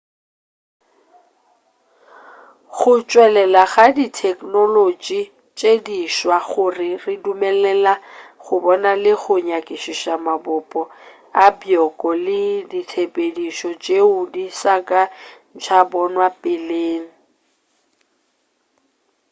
go tšwelela ga ditheknolotši tše di swa go re dumelela go bona le go nyakišiša mabopo a bjoko le ditshepedišo tšeo di sa ka tša bonwa peleng